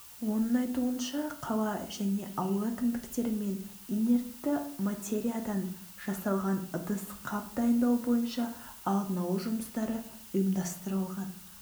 оның айтуынша қала және ауыл әкімдіктерімен инертті материялдан жасалған ыдыс-қап дайындау бойынша алдын алу жұмыстары ұйымдастырылған